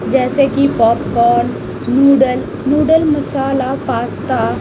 जैसे कि popcorn noodle noodle masala pasta --